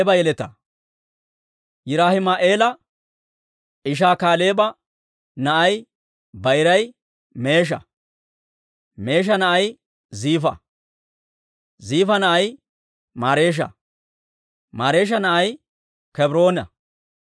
Yiraahima'eela ishaa Kaaleeba na'ay bayiray Meesha. Meesha na'ay Ziifa; Ziifa na'ay Mareesha; Mareesha na'ay Kebroona.